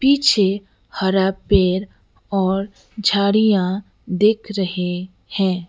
पीछे हरा पेड़ और झाड़ियां दिख रहे हैं।